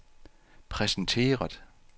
præsenteret